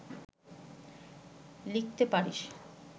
লিখতে পারিস